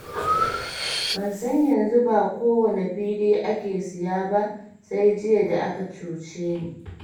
Ban san yanzu ba kowane fili ake siya ba, sai jiya da aka cuce ni.